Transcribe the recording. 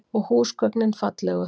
Og húsgögnin fallegu.